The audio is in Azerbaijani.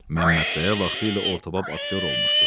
Məmmədqaya vaxtilə ortabab aktyor olmuşdu.